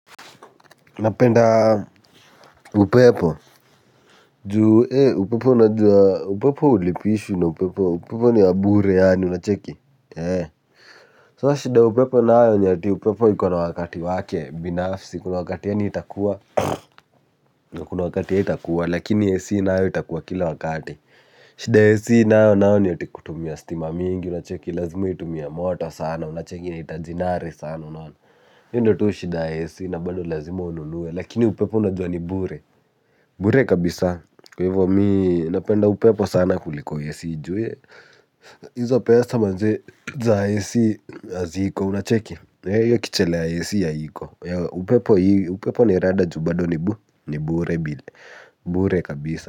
Napenda upepo juu ee upepo unajua, upepo ulipishwi na upepo, upepo niyabure yaani unacheki. Sasa shida ya upepo nayo ni ati upepo ikona wakati wake binafsi kuna wakati yani itakuwa kuna wakati haitakuwa lakini AC nayo itakuwa kila wakati shida ya AC nayo nayo ni ati kutumia stima mingi unacheki, lazima itumie moto sana unacheki yanahitaji nare sana unaona. Hiyo tu ndiyo shida ya AC na bado lazima ununue lakini upepo unajua ni bure. Bure kabisaa, kwa hivyo mimi napenda upepo sana kuliko AC juu we hizo pea manze za AC haziko unacheki hiyo kichele ya AC haiko, upepo ni rada ju bado nibu, nibure bile, bure kabisa.